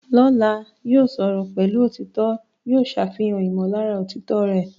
Lọ́la, yóò sọ̀rọ̀ pẹ̀lú òtítọ́, yóò ṣàfihàn ìmọ̀lára òtítọ́ rẹ̀.